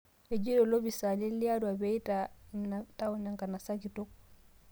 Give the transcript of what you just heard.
Ejeito lopisaani le Arua pee eitaai ina taaon enkanasa kitok